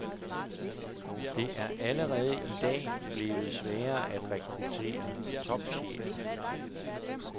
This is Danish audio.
Det er allerede i dag blevet sværere at rekruttere topchefer.